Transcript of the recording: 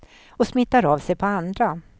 Och smittar av sig på andra.